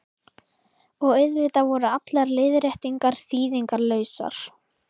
Og auðvitað voru allar leiðréttingar þýðingarlausar.